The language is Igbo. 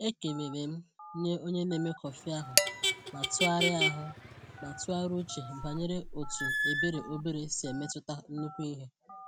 Ekelele m nye onye na-eme kọfị ahụ ma tụgharịa ahụ ma tụgharịa uche banyere otu ebere obere si emetụta nnukwu ihe.